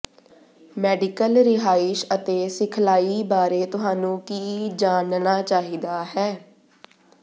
medical ਰਿਹਾਇਸ਼ ਅਤੇ ਸਿਖਲਾਈ ਬਾਰੇ ਤੁਹਾਨੂੰ ਕੀ ਜਾਣਨਾ ਚਾਹੀਦਾ ਹੈ